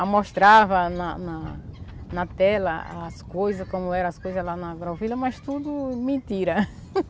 Amostrava na na na tela as coisa, como eram as coisas lá na agrovilha, mas tudo mentira.